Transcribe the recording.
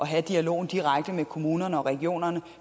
have dialogen direkte med kommunerne og regionerne